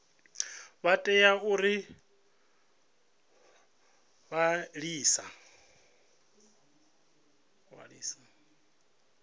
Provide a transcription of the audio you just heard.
vha tea u ḓi ṅwalisa